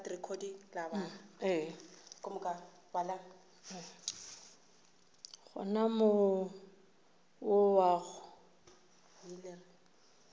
gona more wo wa go